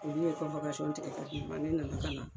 olu ye tigɛ k'a di ne ma, ne nana kana